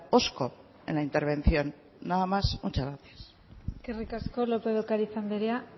hosco en la intervención nada más muchas gracias eskerrik asko lópez de ocariz andrea